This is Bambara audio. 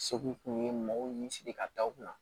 Segu tun ye mɔgɔw ni siri ka da u kunna